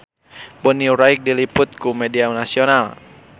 Bonnie Wright diliput ku media nasional